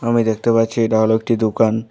মুই দেখতে পাচ্ছি এটা হল একটি দুকান।